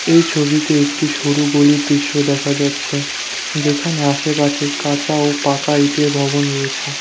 এই ছবিতে একটি সরু গলির দৃশ্য দেখা যাচ্ছে যেখানে আশেপাছে কাঁচা ও পাকা ইটের ভবন রয়েছে।